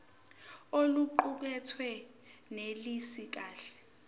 oluqukethwe lunelisi kahle